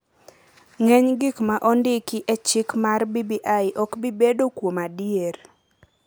ng’eny gik ma ondiki e chik mar BBI ok bi bedo, kuom adier,